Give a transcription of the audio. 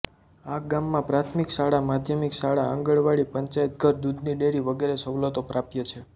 આ ગામમાં પ્રાથમિક શાળા માધ્યમિક શાળા આંગણવાડી પંચાયતઘર દુધની ડેરી વગેરે સવલતો પ્રાપ્ય છે